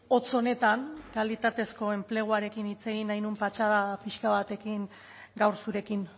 hotz honetan kalitatezko enpleguarekin hitz egin nahi nuen patxada pixka batekin gaur zurekin